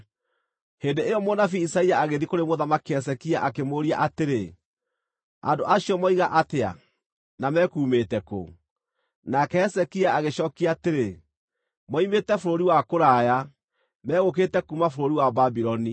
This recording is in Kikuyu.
Hĩndĩ ĩyo mũnabii Isaia agĩthiĩ kũrĩ Mũthamaki Hezekia akĩmũũria atĩrĩ, “Andũ acio moiga atĩa, na mekuumĩte kũ?” Nake Hezekia agĩcookia atĩrĩ, “Moimĩte bũrũri wa kũraya, megũkĩte kuuma bũrũri wa Babuloni.”